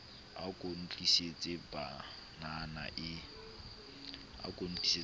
a ko ntlisetse panana e